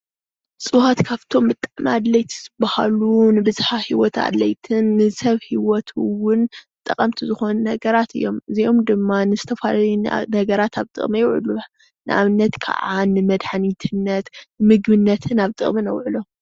እፅዋት ካብቶም ብጣዕሚ ኣድለይቲ ዝበሃሉ ንብዝሃ ሂወት ኣድለይትን ንሰብ ሂወት እዉን ጠቀምቲ ዝኮኑ ነገራት እዮም እዚኦም ድማ ንዝተፈላለዩ ነገራት ኣብ ጥቅሚ ይዉዕሉ ንኣብነት ከዓ ንመድሓኒትነት ምግብነትን ኣብ ጥቅሚ ነዉዕሎም ።